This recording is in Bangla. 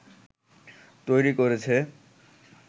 তৈরি করেছে